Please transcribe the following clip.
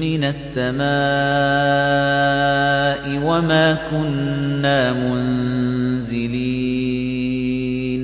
مِّنَ السَّمَاءِ وَمَا كُنَّا مُنزِلِينَ